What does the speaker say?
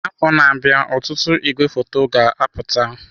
Afọ na-abịa ọtụtụ igwefoto ga-apụta.